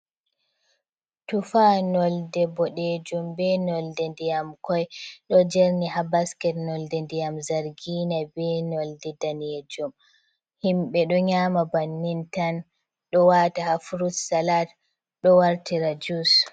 Tufa, nonde boɗejum be nonde ndiyam koi, ɗo jerni ha basket nonde ndiyam zargiina, be nonde daneejum. Himɓe ɗo nyaama bannin tan, ɗo waata ha frut salat, ɗo wartira jus.